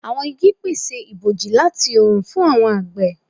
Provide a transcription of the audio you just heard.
Awọn igi pese iboji lati oorun fun awọn agbe